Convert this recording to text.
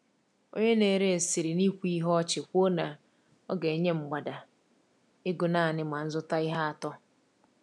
Onye na-ere siri n’ikwu ihe ọchị kwuo na ọ ga-enye mgbada ego naanị ma m zụta ihe atọ.